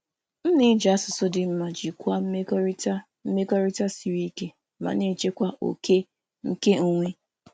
M na-eji asụsụ dị mma iji jikwaa mmekọrịta um siri ike ma na-echekwa ókè onwe onye.